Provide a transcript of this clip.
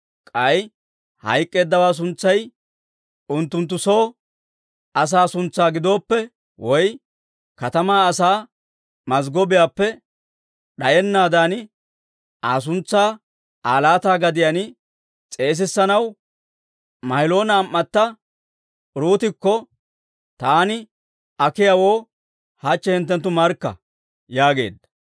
K'ay hayk'k'eeddawaa suntsay unttunttu soo asaa suntsaa giddoppe woy katamaa asaa mazggobaappe d'ayennaadan, Aa suntsaa Aa laata gadiyaan s'eesissanaw Ma'iloona am"atto Uruutokka taani akiyaawoo hachche hinttenttu markka» yaageedda.